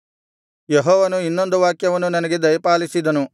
ಯೆಹೋವನು ಇನ್ನೊಂದು ವಾಕ್ಯವನ್ನು ನನಗೆ ದಯಪಾಲಿಸಿದನು